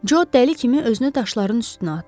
Co dəli kimi özünü daşların üstünə atdı.